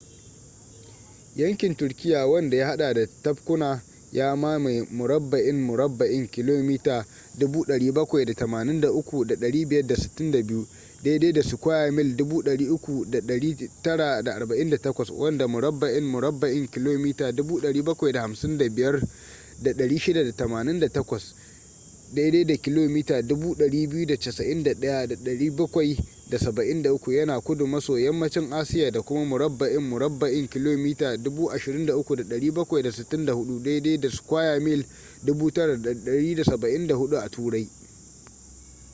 yankin turkiyya wanda ya hada da tabkuna ya mamaye murabba'in murabba'in kilomita 783,562 300,948 sq mi wanda murabba'in murabba'in kilomita 755,688 kilomita 291,773 yana kudu maso yammacin asiya da kuma murabba'in murabba’in kilomita 23,764 9,174 sq mi a turai